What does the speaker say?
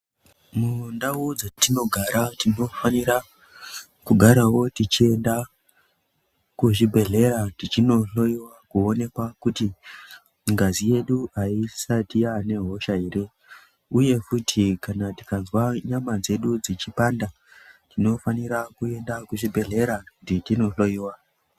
Mundau dzatinogara tinofanira kugarawo teiende kuzvibhedlera tichinohloyiwa kuonekwa kuti ngazi yedu haisati yanehosha here, uye futi tikanzwa nyama dzedu dzichipanda, tinofanira kuenda kuchibhedhlera kuti tinohloyiwa.